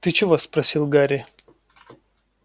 ты чего спросил гарри